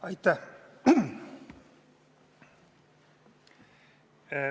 Aitäh!